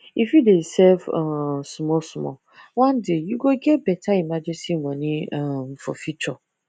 if you dey save um small small one day you go get better emergency money um for future